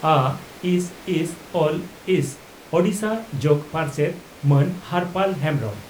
ᱟᱹᱥᱹᱥᱹᱞᱥᱹ ᱳᱰᱤᱥᱟ ᱡᱚᱜᱚ ᱯᱟᱨᱥᱮᱛ ᱢᱟᱱ ᱦᱚᱨᱯᱟᱞ ᱦᱮᱢᱵᱽᱨᱚᱢ